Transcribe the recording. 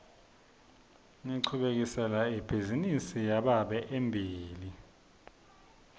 ngichubekisela ibhizinisi yababe embili